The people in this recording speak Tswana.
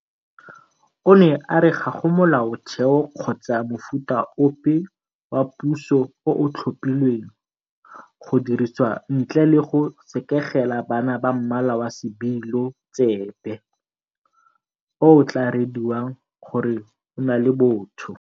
O ne a re ga go Molaotheo kgotsa mofuta ope wa puso o o tlhophilweng go dirisiwa ntle le go sekegela bana ba mmala wa sebilo tsebe o o tla rediwang gore o na le botho.